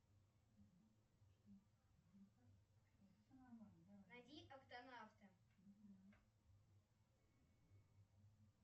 найди октонавты